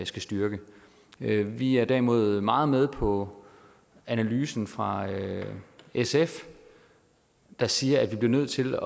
skal styrke vi vi er derimod meget med på analysen fra sf der siger at vi bliver nødt til